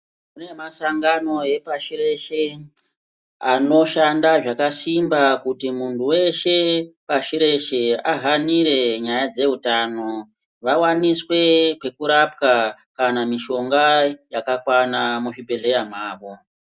Kune masangano epasi reshe, anoshanda zvakasimba kuti muntu weshe pashi reshe ahanire nyaya dzehutano, vawaniswe pekurapwa kana mishonga yakakwana muzvibhedhleya mwavo.